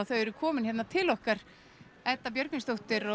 þau eru komin til okkar Edda Björgvinsdóttir